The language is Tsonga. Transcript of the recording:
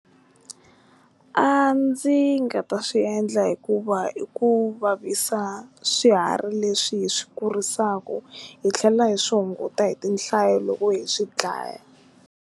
A ndzi nga ta swi endla hikuva i ku vavisa swiharhi leswi hi swi kurisaka hi tlhela hi swi hunguta hi tinhlayo loko hi swi dlaya.